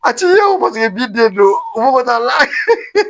A ti ye o paseke b'i den bolo fo ka taa la